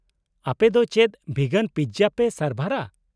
-ᱟᱯᱮ ᱫᱚ ᱪᱮᱫ ᱵᱷᱤᱜᱟᱱ ᱯᱤᱛᱡᱟ ᱯᱮ ᱥᱟᱨᱵᱷᱟᱨᱟ ?